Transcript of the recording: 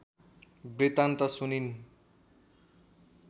वृत्तान्त सुनिन्